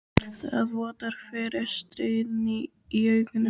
Það vottar fyrir stríðni í augunum.